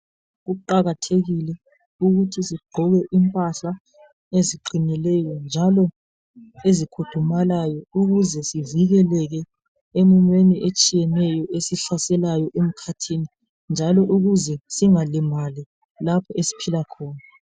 Kuqakathekile ukuthi sigqoke impahla eziqinileyo njalo ezigudumalayo ukuze sivikeleke emumweni etshiyeneyo esihlaselayo emkhathini njalo ukuze singalimali lapho esiphila khona.